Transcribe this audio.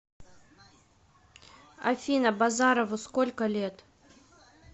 афина базарову сколько лет